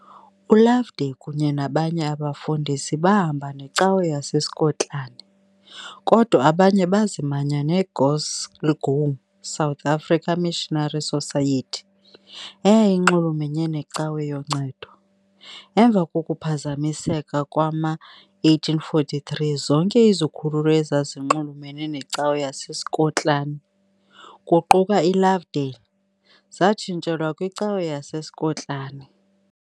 ULovedale kunye nobanye abefundisi bahamba neCawa yaseSkotlani, kodwa abanye bazimanya neGlasgow South African Missionary Society, eyayinxulumene neCawa yoNcedo, emva kokuphazamiseka ngowama1843 zonke izikhululo ezazinxulumene neCawa yaseSkotlani, kuquka iLovedale, zatshintshelwa kwiCawa yaseSkotlani .